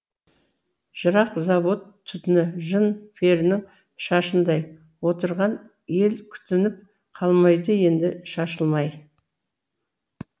жырақ завод түтіні жын перінің шашындай отырған ел күтініп қалмайды енді шашылмай